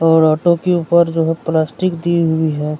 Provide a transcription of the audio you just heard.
और ऑटो के ऊपर जो है प्लास्टिक दी हुई है --